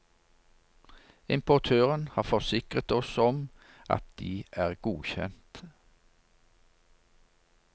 Importøren har forsikret oss om at de er godkjent.